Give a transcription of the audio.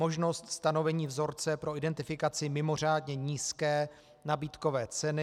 Možnost stanovení vzorce pro identifikaci mimořádně nízké nabídkové ceny.